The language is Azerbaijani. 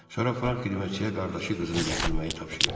Sonra Frank xidmətçiyə qardaşı qızını gətirməyi tapşırıb.